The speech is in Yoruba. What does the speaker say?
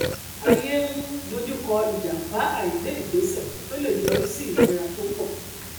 ayé ń dojú kọ ìjàmbá àìgbé ìgbésẹ tó le yọrí sí ìnira tó pọ